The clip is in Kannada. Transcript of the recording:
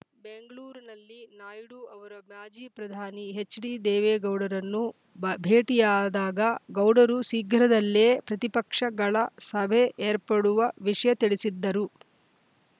ಬೆಂಗಳೂರಿನಲ್ಲಿ ನಾಯ್ಡು ಅವರು ಮಾಜಿ ಪ್ರಧಾನಿ ಎಚ್‌ಡಿ ದೇವೇಗೌಡರನ್ನು ಭ್ ಭೇಟಿಯಾದಾಗ ಗೌಡರು ಶೀಘ್ರದಲ್ಲೇ ಪ್ರತಿಪಕ್ಷಗಳ ಸಭೆ ಏರ್ಪಡುವ ವಿಷಯ ತಿಳಿಸಿದ್ದರು